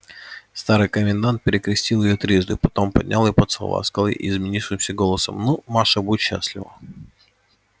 старый комендант перекрестил её трижды потом поднял и поцеловав сказал ей изменившимся голосом ну маша будь счастлива